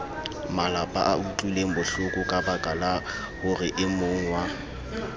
malapaa utlwilengbohloko kabaka la horeemongwa